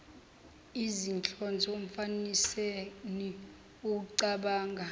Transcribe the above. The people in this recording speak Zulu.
izinhlonze umfaniseni ecabanga